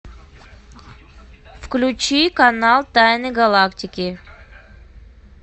включи канал тайны галактики